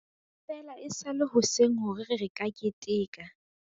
Feela e sa le hoseng hore re ka keteka.